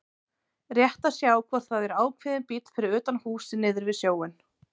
Rétt að sjá hvort það er ákveðinn bíll fyrir utan húsið niðri við sjóinn.